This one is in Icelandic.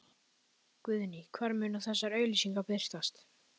Guðný: Hvar munu þessar auglýsingar birtast?